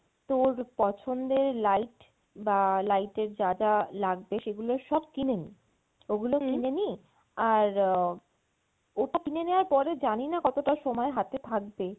তোর পছন্দের light বা light এর যা যা লাগবে সেগুলো সব কিনে নি ওগুলো কিনে নি আর আহ ওটা কিনে নেওয়ার পরে জানিনা কতোটা সময় হাতে থাকবে